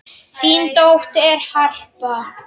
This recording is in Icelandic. Þín dóttir, Harpa.